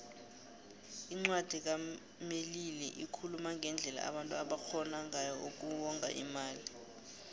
incwadi kamelili ikhuluma ngendlela abantu abangarhona ngayo uku wonga imali